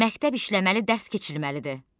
Məktəb işləməli, dərs keçirilməlidir.